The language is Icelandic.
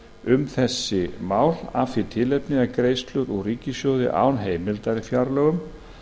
um þessi mál af því tilefni að greiðslur úr ríkissjóði án heimildar í fjárlögum